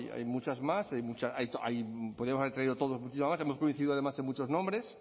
hay muchas más podríamos haber traído todos muchísimas más hemos coincidido además en muchos nombres